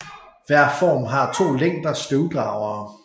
Hver form har to længder støvdragere